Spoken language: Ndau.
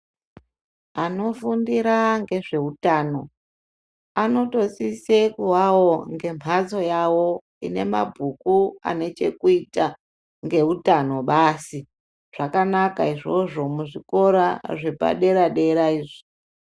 Anofundira ngezveutano, anotosise kuvawo ngemphatso yavo, ine mabhuku ane chekuita, ngeutano basi. Zvakanaka izvozvo muzvikora zvepadera-dera izvi.